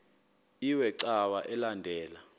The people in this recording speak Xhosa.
iwe cawa elandela